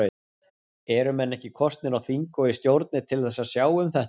Eru menn ekki kosnir á þing og í stjórnir til að sjá um þetta?